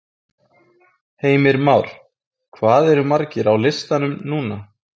Heimir Már: Hvað eru margir á listanum núna?